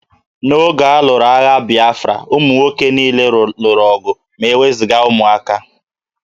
N'oge a lụrụ agha Bịafra, ụmụ nwoke niile lụrụ ọgụ ma e wezụga ụmụaka